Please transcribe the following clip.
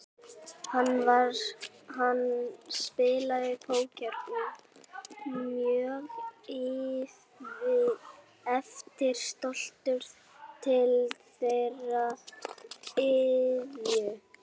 Hann spilaði póker og var mjög eftirsóttur til þeirrar iðju.